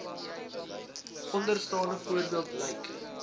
onderstaande voorbeeld lyk